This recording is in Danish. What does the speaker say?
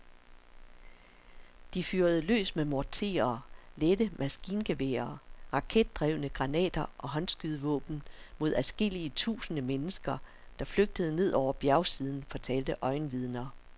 De fyrede løs med morterer, lette maskingeværer, raketdrevne granater og håndskydevåben mod adskillige tusinde mennesker, der flygtede ned over bjergsiden, fortalte øjenvidner.